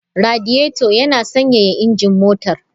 Radiator yana sanyaya injin motar.